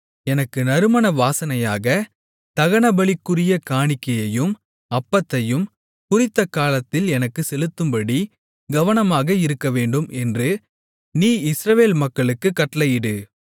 எனக்கு நறுமண வாசனையாக தகனபலிகளுக்குரிய காணிக்கையையும் அப்பத்தையும் குறித்தகாலத்தில் எனக்குச் செலுத்தும்படி கவனமாக இருக்கவேண்டும் என்று நீ இஸ்ரவேல் மக்களுக்குக் கட்டளையிடு